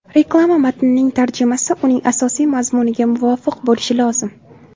Reklama matnining tarjimasi uning asosiy mazmuniga muvofiq bo‘lishi lozim.